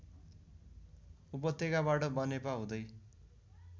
उपत्यकाबाट बनेपा हुँदै